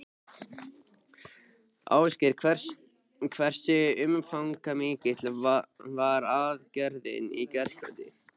Ásgeir, hversu umfangsmikil var aðgerðin í gærkvöldi?